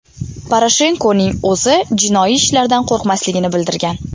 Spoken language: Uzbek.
Poroshenkoning o‘zi jinoiy ishlardan qo‘rqmasligini bildirgan.